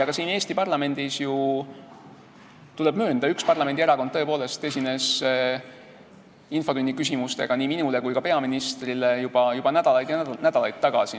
Siin Eesti parlamendis, tuleb möönda, üks parlamendierakond tõepoolest esitas infotunnis küsimusi nii minule kui ka peaministrile juba nädalaid ja nädalaid tagasi.